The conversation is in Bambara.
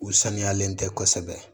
U saniyalen tɛ kosɛbɛ